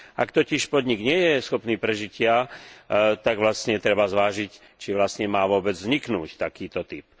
Ak totiž podnik nie je schopný prežitia, tak vlastne treba zvážiť, či vlastne má vôbec vzniknúť takýto typ.